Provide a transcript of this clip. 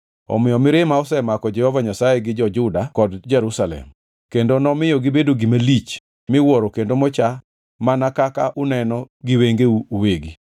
Omiyo mirima osemako Jehova Nyasaye gi jo-Juda kod Jerusalem; kendo nomiyo gibedo gima lich; miwuoro kendo mocha mana kaka uneno giwengeu uwegi.